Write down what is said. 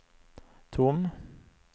tom